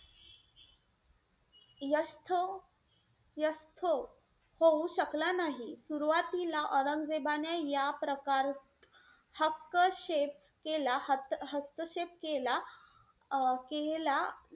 यसतो यसतो होऊ शकला नाही. सुरवातीला औरंगजेबाने या प्रकार हक्कशेप केला~ हस्तक्षेप केला अं केला.